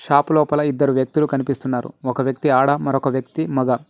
Shop లోపల ఇద్దరు వ్యక్తులు కనిపిస్తున్నారు ఒక వ్యక్తి ఆడ మరొక వ్యక్తి మొగ.